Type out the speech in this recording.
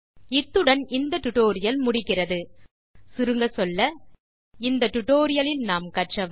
இத்துடன் இந்த டியூட்டோரியல் முடிகிறது சுருங்கச்சொல்ல இந்த டியூட்டோரியல் லில் கற்றது